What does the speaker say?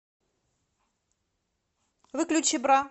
выключи бра